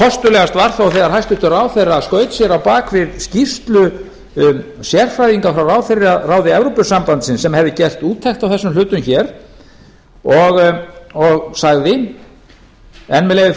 kostulegast var þó þegar hæstvirtur ráðherra skaut sér á bak við skýrslu um sérfræðinga frá ráðherraráði evrópusambandsins sem hefði gert úttekt á þessum hlutum hér og sagði enn með leyfi